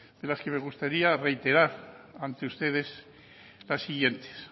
de las que me gustaría reiterar ante ustedes las siguientes